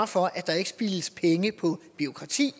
for at der ikke spildes penge på bureaukrati